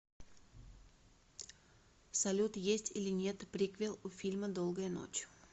салют есть или нет приквел у фильма долгая ночь